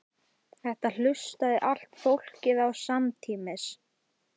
Þetta hlustaði allt fólkið á samtímis.